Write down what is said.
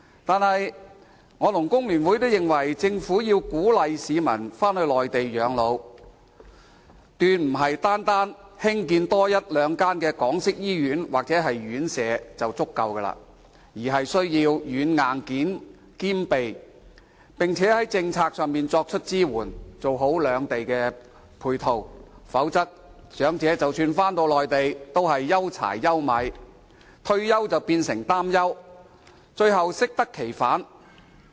可是，我和工聯會都認為，政府要鼓勵市民返回內地養老，決不是單單多建一兩間港式醫院或院舍便足夠，而是要軟、硬件兼備，並且在政策上作出支援，做好兩地配套，否則，長者即使返回內地，也是憂柴憂米，退休變成擔憂，最後適得其反。